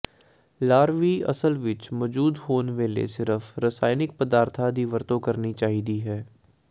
ਲਾਰਵੀ ਅਸਲ ਵਿਚ ਮੌਜੂਦ ਹੋਣ ਵੇਲੇ ਸਿਰਫ ਰਸਾਇਣਕ ਪਦਾਰਥਾਂ ਦੀ ਵਰਤੋਂ ਕਰਨੀ ਚਾਹੀਦੀ ਹੈ